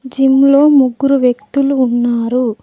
Gym లో ముగ్గురు వ్యక్తులు ఉన్నారు.